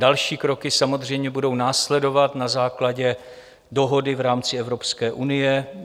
Další kroky samozřejmě budou následovat na základě dohody v rámci Evropské unie.